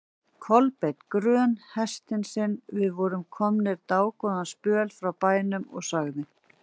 Kolbeinn grön hestinn sinn, við vorum komnir dágóðan spöl frá bænum, og sagði